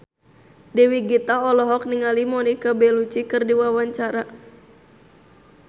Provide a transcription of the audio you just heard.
Dewi Gita olohok ningali Monica Belluci keur diwawancara